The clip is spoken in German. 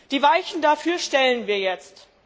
Die Weichen dafür stellen wir jetzt.